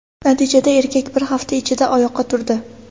Natijada, erkak bir hafta ichida oyoqqa turdi.